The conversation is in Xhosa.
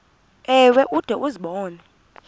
ewe ude uzibone